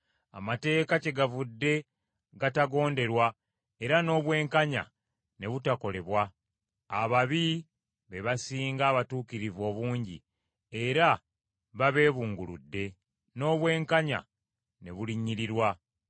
Amateeka kyegavudde gatagonderwa era n’obwenkanya ne butakolebwa. Ababi be basinga abatuukirivu obungi era babeebunguludde, n’obwenkanya ne bulinnyirirwa.